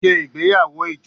Ṣe igbeyawo ijo!